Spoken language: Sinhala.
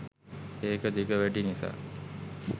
ඒක දිග වැඩි නිසා